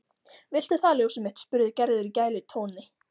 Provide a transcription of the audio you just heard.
Viltu það ljósið mitt? spurði Gerður í gælutóni.